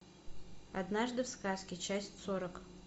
однажды в сказке часть сорок